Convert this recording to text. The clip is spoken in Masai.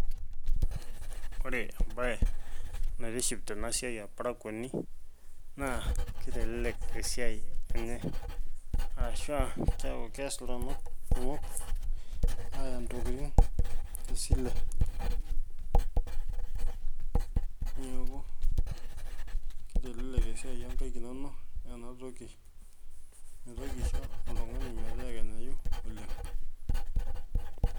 Ore embae naitiship tenasiai orparakuoni naa kitelelek esiai enye ashua keyau iltunganak ntokitin aya tesile , niaku kitelelek esiai onkaik inonok enatoki mitoki aisho oltungani meteekenyayu oleng.